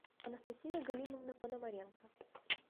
анастасия галимовна пономаренко